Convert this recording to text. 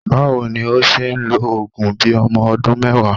Báwo ni ó ṣe ń lo òògùn bí ọmọ ọdún mẹ́wàá?